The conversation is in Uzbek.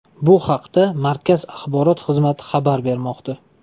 Bu haqda markaz axborot xizmati xabar bermoqda.